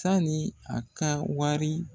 Sani a ka wari